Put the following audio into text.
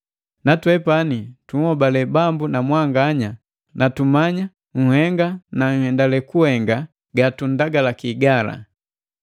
Natwepani tunhobale Bambu mwanganya na tumanya nhenga na nhendale kuhenga gatunndagalaki gala.